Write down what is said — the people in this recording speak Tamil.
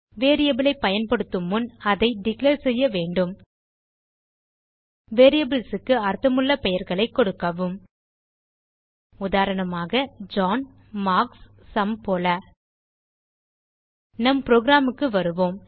வேரியபிள் ஐ பயன்படுத்துமுன் அதை டிக்ளேர் செய்ய வேண்டும் வேரியபிள்ஸ் க்கு அர்த்தமுள்ள பெயர்களைக் கொடுக்கவும் உதாரணமாக ஜான் மார்க்ஸ் சும் போல நம் புரோகிராம் க்கு வருவோம்